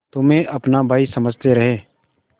तुम्हें अपना भाई समझते रहे